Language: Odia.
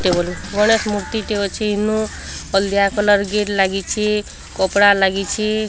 ଟେବୁଲ୍ ମୂଳେ ମୂର୍ତ୍ତିଟେ ଅଛି ଇନୁ ହଲଦିଆ କଲର୍ ଗେଟ୍ ଲାଗିଚି କପଡ଼ା ଲାଗିଚି।